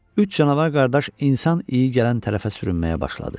Üç canavar qardaş insan iyi gələn tərəfə sürünməyə başladı.